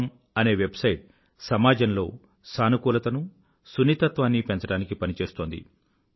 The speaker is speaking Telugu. com అనే వెబ్సైట్ సమాజంలో సానుకూలతను సున్నితత్వాన్నీ పెంచడానికి పనిచేస్తోంది